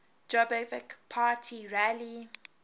jobbik party rally